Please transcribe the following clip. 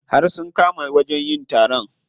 Har sun kama wajen yin taron.